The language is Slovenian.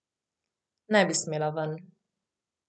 Ne bi smela ven.